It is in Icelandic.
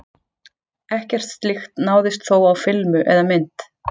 Ekkert slíkt náðist þó á filmu eða mynd.